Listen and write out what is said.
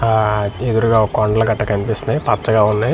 ఆ ఎదురుగా ఒక కొండల కట్ట కనిపిస్తున్నాయి పచ్చగా ఉన్నాయి.